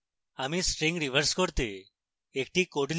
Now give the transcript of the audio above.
এখন আরেকটি উদাহরণ দেখি